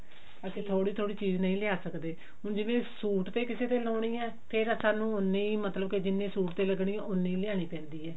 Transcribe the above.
ਅਸੀਂ ਥੋੜੀ ਥੋੜੀ ਚੀਜ਼ ਨਹੀ ਲਿਆ ਸਕਦੇ ਹੁਣ ਜਿਵੇਂ ਸੂਟ ਤੇ ਕਿਸੇ ਤੇ ਲਾਉਣੀ ਹੈ ਫ਼ੇਰ ਸਾਨੂੰ ਉੰਨੀ ਮਤਲਬ ਕਿ ਜਿੰਨੀ ਸੂਟ ਤੇ ਲੱਗਣੀ ਹੈ ਉੰਨੀ ਲਿਆਉਣੀ ਪੈਂਦੀ ਹੈ